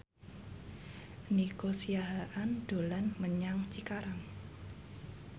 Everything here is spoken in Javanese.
Nico Siahaan dolan menyang Cikarang